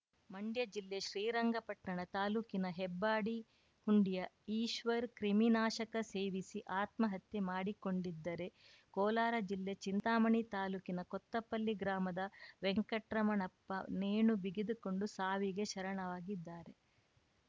ಮಂಡ್ಯ ಜಿಲ್ಲೆ ಶ್ರೀರಂಗಪಟ್ಟಣ ತಾಲೂಕಿನ ಹೆಬ್ಬಾಡಿ ಹುಂಡಿಯ ಈಶ್ವರ್‌ ಕ್ರಿಮಿನಾಶಕ ಸೇವಿಸಿ ಆತ್ಮಹತ್ಯೆ ಮಾಡಿಕೊಂಡಿದ್ದರೆ ಕೋಲಾರ ಜಿಲ್ಲೆ ಚಿಂತಾಮಣಿ ತಾಲೂಕಿನ ಕೊತ್ತಪಲ್ಲಿ ಗ್ರಾಮದ ವೆಂಕಟ್ರಮಣಪ್ಪ ನೇಣು ಬಿಗಿದುಕೊಂಡು ಸಾವಿಗೆ ಶರಣಾಗಿದ್ದಾರೆ